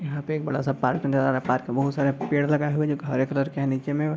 यहाँ पे एक बड़ा सा पार्क नजर आ रहा है। पार्क में बहुत सारे पेड़ लगाये हुए हैं जो हरे कलर के हैं | निचे में --